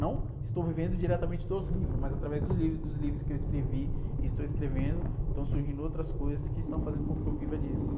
Não estou vivendo diretamente dos livros, mas através dos livros, e dos livros que eu escrevi e estou escrevendo, estão surgindo outras coisas que estão fazendo com que eu viva disso.